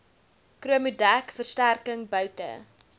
chromodek versterking boute